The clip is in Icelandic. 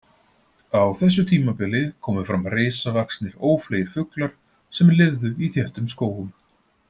Á þessu tímabili komu fram risavaxnir ófleygir fuglar sem lifðu í þéttum skógum.